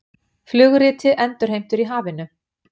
Flugriti endurheimtur í hafinu